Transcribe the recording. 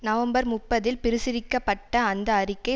November முப்பதில் பிரசுரிக்கப்பட்ட அந்த அறிக்கை